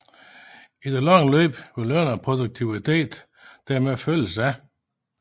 I det lange løb vil løn og produktivitet dermed følges ad